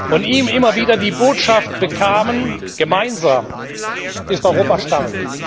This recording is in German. von ihm immer wieder die Botschaft bekamen Gemeinsam ist Europa stark.